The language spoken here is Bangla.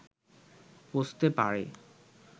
পৌঁছতে পারে